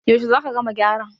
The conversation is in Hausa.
yaushe za ka gama gyaran?